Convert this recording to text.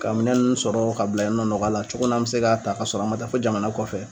Ka minɛn nun sɔrɔ ka bila yen nɔ nɔgɔya la cogo min n'an mɛ se k'a ta ka sɔrɔ an man taa fɔ jamana kɔfɛ.